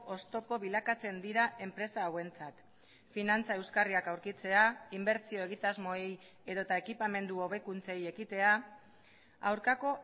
oztopo bilakatzen dira enpresa hauentzat finantza euskarriak aurkitzea inbertsio egitasmoei edota ekipamendu hobekuntzei ekitea aurkako